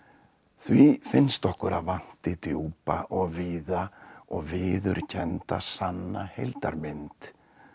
því finnst okkur að vanti djúpa og víða og viðurkennda sanna heildarmynd